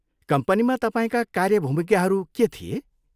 कम्पनीमा तपाईँका कार्य भूमिकाहरू के थिए?